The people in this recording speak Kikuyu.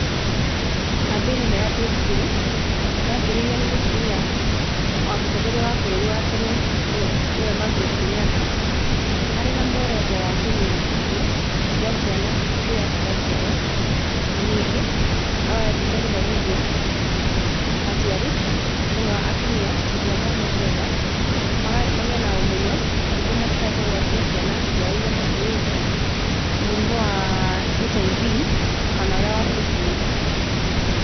Kambĩ-ini ĩno ya Beyond Zero, yambĩrĩirio nĩ mũtumia, wa mũtongoria wa bũrũri wa tene, nĩwe Margaret Kenyatta, arĩ na muoroto wa kũnina ikuũ, cia ciana hĩndĩ ĩrĩa ciraciarwo, na ningĩ no endete gũthomithia, aciari, mũno atumia hĩndĩ ĩrĩa mohete nda, maga magĩe na ũmenyo nĩguo matikae kũgwatia ciana ciao iria makuĩte, mũrimũ wa HIV kana ũrĩa wa Syphilis.